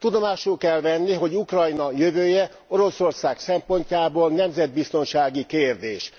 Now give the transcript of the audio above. Tudomásul kell venni, hogy Ukrajna jövője Oroszország szempontjából nemzetbiztonsági kérdés.